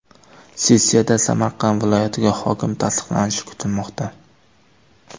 Sessiyada Samarqand viloyatiga hokim tasdiqlanishi kutilmoqda.